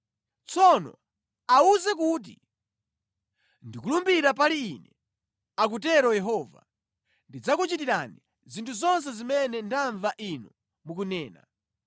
Tsono awuze kuti, ‘Ndikulumbira pali Ine,’ akutero Yehova, ‘Ndidzakuchitirani zinthu zonse zimene ndamva inu mukunena: